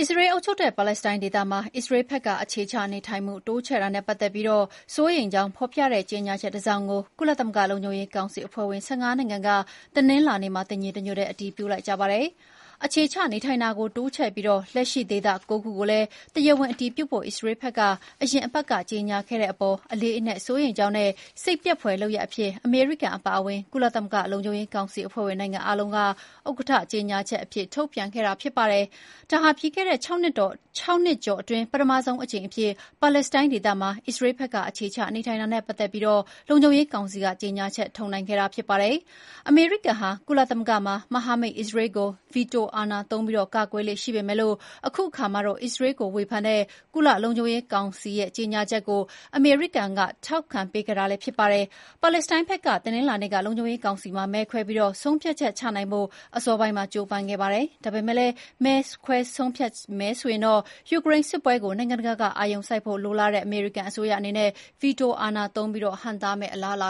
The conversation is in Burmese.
အစ္စရေးအုပ်ချုပ်တဲ့ ပါလက်စတိုင်းဒေသမှာ အစ္စရေးဘက်က အခြေချနေထိုင်မှု တိုးချဲ့တာနဲ့ပတ်သက်ပြီး စိုးရိမ်ကြောင်းဖော်ပြတဲ့ ကြေညာချက်တစောင်ကို ကုလသမဂ္ဂလုံခြုံရေးကောင်စီ အဖွဲ့ဝင် ၁၅ နိုင်ငံက တနင်္လာနေ့မှာ တညီတညွတ်တည်း အတည်ပြုလိုက်ပါတယ်။ အခြေချနေထိုင်တာကိုတိုးချဲ့ပြီး လက်ရှိ ဒေသ ၉ ခုကိုလည်း တရားဝင် အတည်ပြုဖို့ အစ္စရေးဘက်က အရင်အပတ်က ကြေညာခဲ့တာအပေါ် “အလေးအနက်စိုးရိမ်ကြောင်းနဲ့ စိတ်ပျက်ဖွယ်လုပ်ရပ်အဖြစ်” အမေရိကန်အပါအဝင် ကုလသမဂ္ဂလုံခြုံရေးကောင်စီအဖွဲ့ဝင် နိုင်ငံအားလုံးက ဥက္ကဋ္ဌကြေညာချက်အဖြစ် ထုတ်ပြန်ခဲ့တာဖြစ်ပါတယ်။ ဒါဟာ ပြီးခဲ့တဲ့ ၆ နှစ်ကျော်အတွင်း ပထမဆုံးအကြိမ်အဖြစ် ပါလက်စတိုင်းဒေသမှာ အစ္စရေးဘက်က အခြေချနေထိုင်တာနဲ့ပတ်သက်ပြီး လုံခြုံရေးကောင်စီက ကြေညာချက်ထုတ်နိုင်ခဲ့တာ ဖြစ်ပါတယ်။ အမေရိကန်ဟာ ကုလသမဂ္ဂမှာ မဟာမိတ်အစ္စရေးကို ဗီတိုအာဏာသုံးပြီး ကာကွယ်လေ့ရှိပေမယ့် အခုတခါမှာတော့ အစ္စရေးကိုဝေဖန်တဲ့ ကုလလုံခြုံရေးကောင်စီရဲ့ ကြေညာချက်ကို အမေရိကန်က ထောက်ခံပေးခဲ့တာလည်းဖြစ်ပါတယ်။ ပါလက်စတိုင်းဘက်က တနင်္လာနေ့ လုံခြုံရေးကောင်စီမှာ မဲခွဲပြီးဆုံးဖြတ်ချက်ချနိုင်ဖို့ အစောပိုင်းမှာ ကြိုးပမ်းခဲ့တာပါ။ ဒါပေမဲ့လည်း မဲခွဲဆုံးဖြတ်မယ်ဆိုရင် ယူကရိန်းစစ်ပွဲကို နိုင်ငံတကာကအာရုံစိုက်ဖို့လိုလားတဲ့ အမေရိကန်အစိုးရအနေနဲ့ ဗီတိုအာဏာသုံးပြီး ဟန့်တားမယ့်အလားအလ